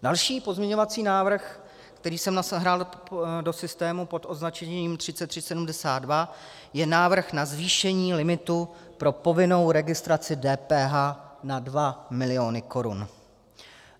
Další pozměňovací návrh, který jsem nahrál do systému pod označením 3372, je návrh na zvýšení limitu pro povinnou registraci DPH na 2 miliony korun.